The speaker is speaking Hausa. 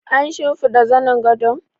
An shimfiɗa zanin gadon?